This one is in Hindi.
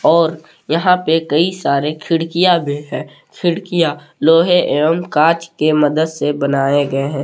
और यहां पे कई सारे खिड़कियां भी है खिड़कियां लोहे एवं कांच के मदद से बनाए गए हैं।